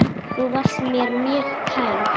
Þú varst mér mjög kær.